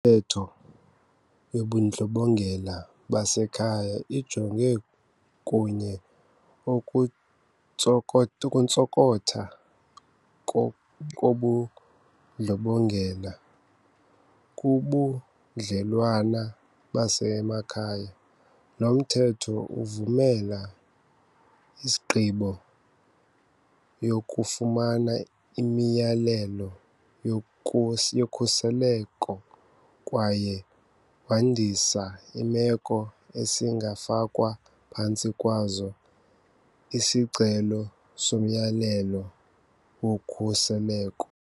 Mthetho wobuNdlobongela baseKhaya ujonga okunye okuntsoko ukuntsokotha kobundlobongela kubudlelwane basemakhaya. Lo Mthetho uvumela isigqibo yokufumana imiyalelo yokhuseleko kwaye wandisa iimeko esingafakwa phantsi kwazo isicelo somyalelo wokhuseleko.